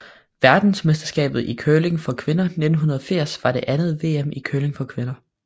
Verdensmesterskabet i curling for kvinder 1980 var det andet VM i curling for kvinder